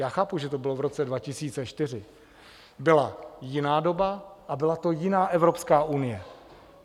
Já chápu, že to bylo v roce 2004, byla jiná doba a byla to jiná Evropská unie.